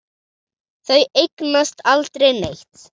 Þau eignast aldrei neitt.